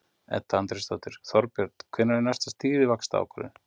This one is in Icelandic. Edda Andrésdóttir: Þorbjörn, hvenær er næsta stýrivaxtaákvörðun?